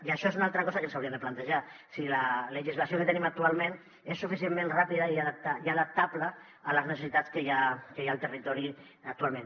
i això és una altra cosa que ens hauríem de plantejar si la legislació que tenim actualment és suficientment ràpida i adaptable a les necessitats que hi ha al territori actualment